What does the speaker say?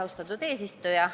Austatud eesistuja!